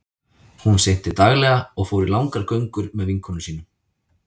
Hún synti daglega og fór í langar göngur með vinkonum sínum.